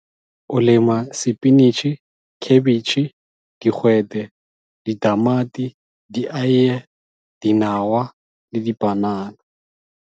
O lema sepinitšhi, khebetšhe, digwete, ditamati, dieiye, dinawa le dipanana.